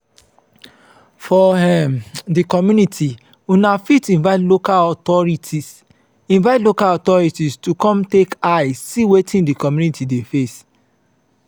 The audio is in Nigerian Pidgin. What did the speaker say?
for um di community una fit invite local authorities invite local authorities to come take eye see wetin di commumity dey face